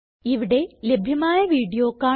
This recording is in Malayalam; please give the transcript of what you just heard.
ഇവിടെ ലഭ്യമായ വീഡിയോ കാണുക